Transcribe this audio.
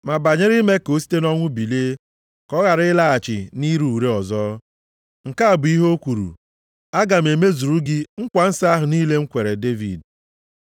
Ma banyere ime ka o site nʼọnwụ bilie, ka ọ ghara ịlaghachi nʼire ure ọzọ. Nke a bụ ihe o kwuru, “ ‘Aga m emezuru gị nkwa nsọ ahụ niile m kwere Devid.’ + 13:34 \+xt Aịz 55:3\+xt*